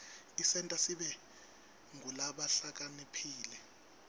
isenta sibe ngulabahlakaniphile